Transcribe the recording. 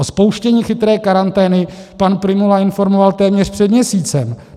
O spouštění chytré karantény pan Prymula informoval téměř před měsícem.